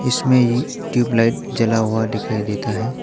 इसमें ही ट्यूबलाइट जला हुआ दिखाई देता है।